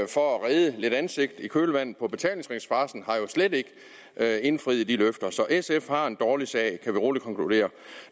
for at redde lidt ansigt i kølvandet på betalingsringsfarcen har jo slet ikke indfriet de løfter så sf har en dårlig sag kan vi roligt konkludere